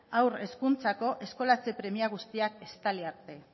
haur hezkuntzako eskolatze premia guztiak estali arte